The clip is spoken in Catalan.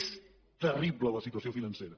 és terrible la situació financera